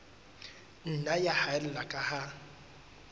nna ya haella ka ha